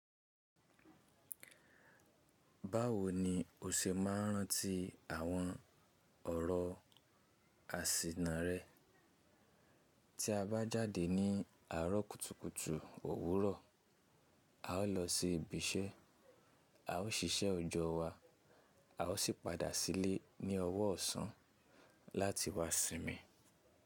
Báwo ni o ṣe máa ń rántí àwọn ọ̀rọ̀ àsìnà rẹ? Tí a bá jáde ní àárọ̀ kùtùkùtù òwúrọ̀, a ó lọ sí ibi iṣẹ́, a ó ṣiṣẹ́ òojò wá, a ó sì padà sílé ní ọwọ́ ọ̀sán láti wá sinmi.